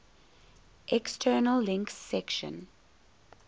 external links section